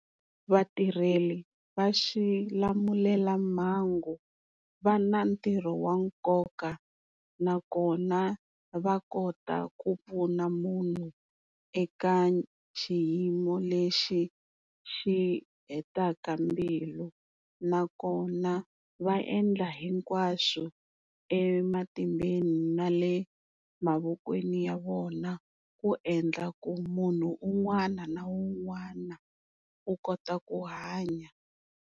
Vatirheli va xilamulelamhangu va na ntirho wa nkoka nakona va kota ku pfuna munhu eka xiyimo lexi xi hetaka mbilu nakona va endla hinkwaswo ematimbeni na le mavokweni ya vona ku endla ku munhu un'wana na un'wana u kota ku hanya.